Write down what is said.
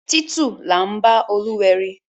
Títù là ḿbá Olúwẹri.